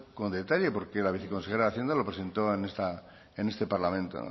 con detalle porque la viceconsejera de hacienda lo presentó en este parlamento